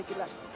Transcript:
Təşəkkürlər.